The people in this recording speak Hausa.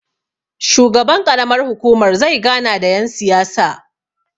shugaban ƙaramar hukumar zai gana da yansiyasa